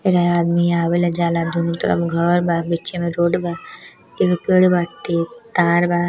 यहां आदमी आवेला जाला दुनो तरफ घर बा बीचे में रोड बा एगो पेड़ बाटे तार बा।